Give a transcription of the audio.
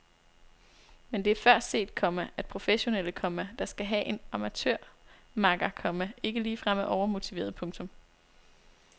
Men det er før set, komma at professionelle, komma der skal have en amatørmakker, komma ikke ligefrem er overmotiverede. punktum